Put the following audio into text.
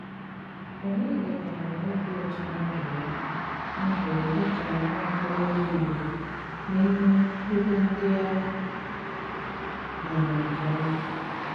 Ọnyédíkà nwéré òbí ụtọ ná ndụ́ yá ndụ́ yá dí kà nwá ókóròbíà Ìgbò n’ímè ebe ndí à máárá nké òma.